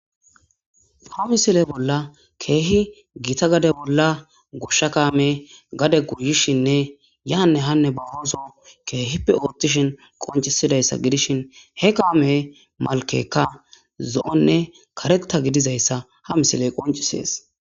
Ha misile bolla keehi gita gade bolla goshsha kaame gade guyishinne yaanne hanne ba hooso keehippe oottishin qoncisidayssa gidishin he kaame malkekka zo'onne karetta gidizayssa ha misiley qoncisees.